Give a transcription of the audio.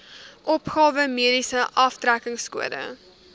opgawe mediese aftrekkingskode